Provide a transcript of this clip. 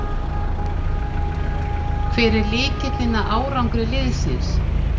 Hver er lykillinn að árangri liðsins?